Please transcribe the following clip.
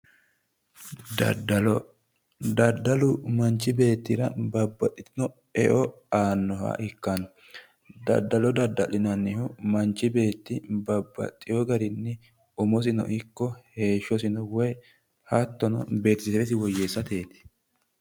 daddalo daddalu manchi beettira babbaxitino eo aannoha ikkanno daddalo dadda'linannihu mnchu beetti bbbaxewo garinni umosino ikko heeshshosino woyi hattono beetesewesi woyyeessateeti.